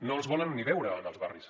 no els volen ni veure en els barris